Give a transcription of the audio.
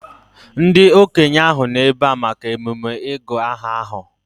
Ndị okenye ahụ nọ ebea maka emume ịgụ aha ahụ